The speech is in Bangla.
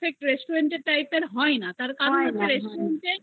এর Type এর হয় না তারকারণ হচ্ছে restaurant এ